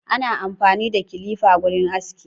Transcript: Ana amfani da clipper wurin aski.